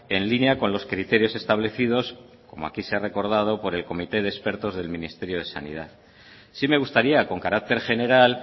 en línea con los criterios establecidos como aquí se ha recordado por el comité de expertos del ministerio de sanidad sí me gustaría con carácter general